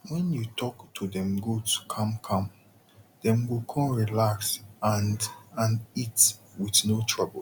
wen u talk to dem goat calm calm dey go kon relax and and eat with no trouble